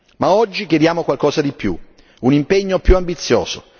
Ma oggi chiediamo qualcosa di più, un impegno più ambizioso.